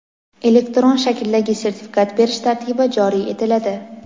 elektron shakldagi sertifikat berish tartibi joriy etiladi;.